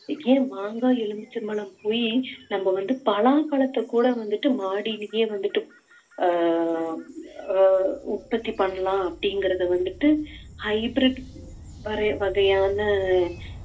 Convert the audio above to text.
இதே மாங்காய் எலுமிச்சம்பழம் போயி நம்ம வந்து பலாப்பழத்தைக் கூட வந்துட்டு மாடிலியே வந்துட்டு அஹ் அஹ் உற்பத்தி பண்ணலாம் அப்படிங்கறதை வந்துட்டு hybrid வர~ வகையான